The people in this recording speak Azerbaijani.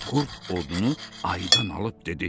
Qurd odunu ayıdan alıb dedi: